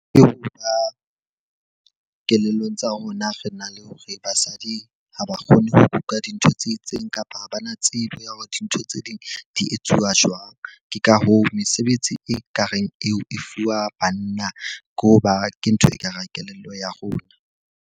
Ke ho ba kelellong tsa rona re na le hore basadi ha ba kgone ho kuka dintho tse itseng, kapa ha ba na tsebo ya hore dintho tse ding di etsuwa jwang. Ke ka hoo, mesebetsi e ka reng eo e fuwa banna. Ke ho ba ke ntho ekareng kelello ya rona.